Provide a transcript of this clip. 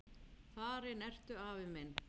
Farinn ertu, afi minn.